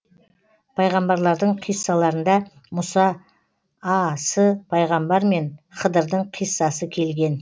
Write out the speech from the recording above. пайғамбарлардың қиссаларында мұса а с пайғамбар мен хыдырдың қиссасы келген